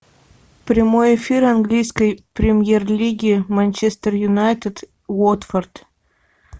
прямой эфир английской премьер лиги манчестер юнайтед уотфорд